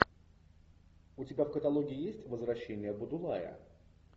у тебя в каталоге есть возвращение будулая